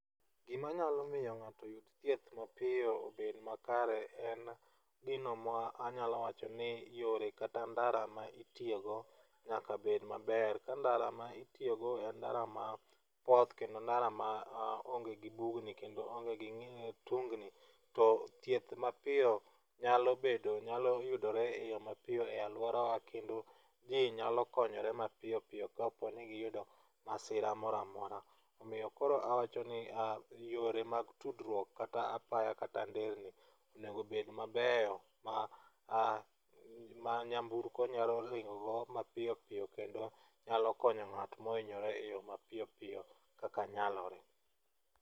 Gimanyalo miyo ng'ato yud thieth mapiyo obed makare en gino ma anyalo wacho ni yore kata ndara ma itiyogo nyaka bed maber. Ka ndara ma itiyogo en ndara mapoth, kendo ndara ma onge gi bugni kendo onge gi tungni, to thieth mapiyo nyalo bedo ,nyalo yudore e yo mapiyo e alworawa kendo ji nyalo konyore mapiyo piyo kapo ni giyudo masira mora mora. Omiyo koro awachoni yore mag tudruok kata apaya kata nderni onego obed mabeyo, ma nyamburko nyalo ringogo mapiyo piyo kendo nyalo konyo ng'at mohinyore e yo mapiyo piyo, kaka nyalore.